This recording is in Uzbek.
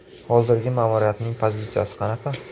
Hozirgi ma’muriyatning pozitsiyasi qanaqa?